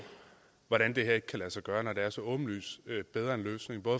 hvordan det her ikke kan lade sig gøre når det er en så åbenlyst bedre løsning